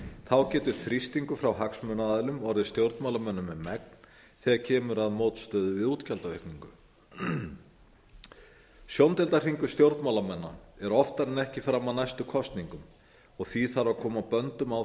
þá getur þrýstingur frá hagsmunaaðilum orðið stjórnmálamönnum um megn þegar kemur að mótstöðu við útgjaldaaukningu sjóndeildarhringur stjórnmálamanna er oftar en ekki fram að næstu kosningum því þarf að koma á böndum á